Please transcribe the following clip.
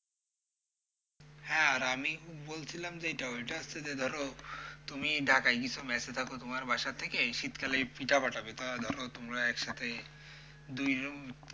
হ্যাঁ আর আমি বলছিলাম যেইটা ওইটা হচ্ছে যে ধরো তুমি ঢাকায় কিছু মেসে থাকো তোমার বাসা থেকে শীতকালে এই পিঠা পাঠাবে। তা ধরো তোমরা একসাথে দুইজন,